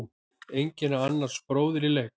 Enginn er annars bróðir í leik.